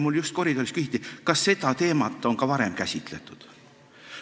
Mult just koridoris küsiti, kas seda teemat on ka varem käsitletud.